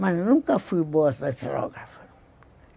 Mas nunca fui boa datilógrafa.